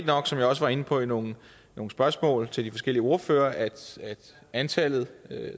nok som jeg også var inde på i nogle nogle spørgsmål til de forskellige ordførere at antallet